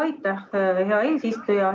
Aitäh, hea eesistuja!